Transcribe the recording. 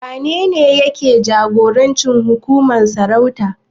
Wanene yake jagorancin hukumar sarauta?